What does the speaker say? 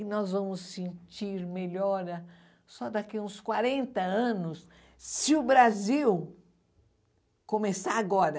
E nós vamos sentir melhora só daqui a uns quarenta anos, se o Brasil começar agora.